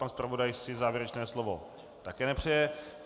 Pan zpravodaj si závěrečné slovo také nepřeje.